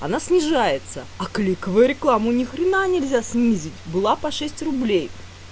она снижается а кликовая рекламу ни хрена нельзя снизить была по шесть рублей